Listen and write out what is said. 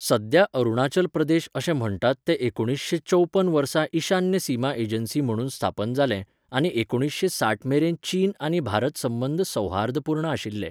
सद्या अरुणाचल प्रदेश अशें म्हण्टात तें एकुणसे चौपन्न वर्सा ईशान्य सीमा एजन्सी म्हणून स्थापन जालें आनी एकुणशे साठ मेरेन चीन आनी भारत संबंद सौहार्दपूर्ण आशिल्ले.